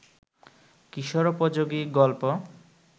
কিশোরোপযোগী গল্প